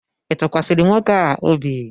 ị tụkwasịrị nwoke a obi?